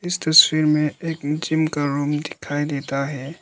इस तस्वीर में एक जिम का रूम दिखाई देता है।